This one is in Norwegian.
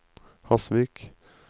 Hasvik